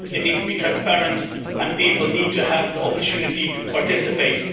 It needs to be transparent, and people need to have the opportunity to participate.